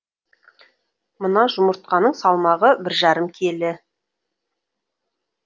мына жұмыртқаның салмағы бір жарым келі